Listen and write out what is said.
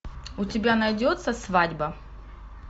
у тебя найдется свадьба